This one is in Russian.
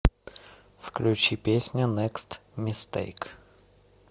включи песня некст мистейк